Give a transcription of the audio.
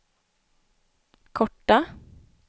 korta